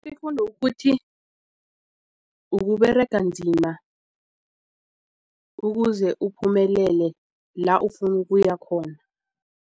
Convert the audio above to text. Ifundo kukuthi ukuberega nzima ukuze uphumelele la ufuna ukuya khona.